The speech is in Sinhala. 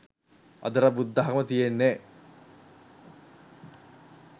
අදටත් බුද්ධාගම තියෙන්නෙ